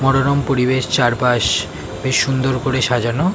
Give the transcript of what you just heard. মনোরম পরিবেশ চার পাশ বেশ সুন্দর করে সাজানো।